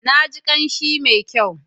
Na ji kamshi mai kyau.